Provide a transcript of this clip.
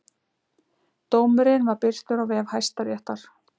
Dómurinn var birtur á vef Hæstaréttar